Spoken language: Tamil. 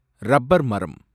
ரப்பர் மரம்